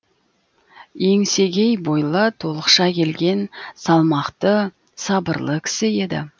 еңсегей бойлы толықша келген салмақты сабырлы кісі еді